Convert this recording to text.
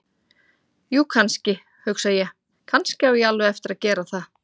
Jú, kannski, hugsa ég: Kannski á ég alveg eftir að gera það.